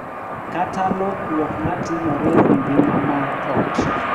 Kata lokruok ma timore e ngima mar ot.